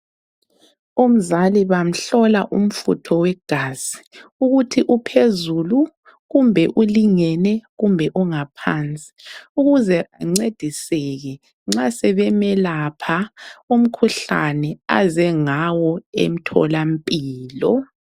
Umzali bamhlola umfutho wegazi ukuthi uphezulu, kumbe ulingene ,kumbe ungaphansi ukuze ancediseke nxa sebemelapha umkhuhlane aze ngawo emtholampilo.